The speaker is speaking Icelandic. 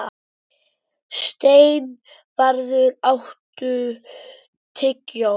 Steinvarður, áttu tyggjó?